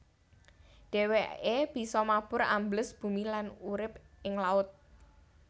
Dhèwèké bisa mabur ambles bumi lan urip ing laut